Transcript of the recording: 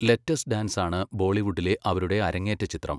Let's dance ആണ് ബോളിവുഡിലെ അവരുടെ അരങ്ങേറ്റ ചിത്രം.